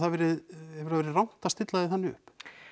verið rangt að stilla því þannig upp